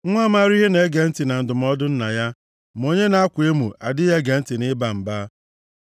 Nwa maara ihe na-ege ntị na ndụmọdụ nna ya ma onye na-akwa emo adịghị ege ntị nʼịba mba.